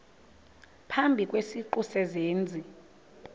phambi kwesiqu sezenzi